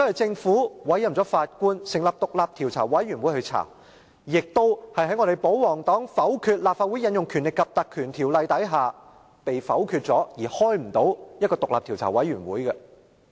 政府同樣委任了法官成立獨立調查委員會調查，而保皇黨否決立法會引用《立法會條例》的議案，導致專責委員會無法成立。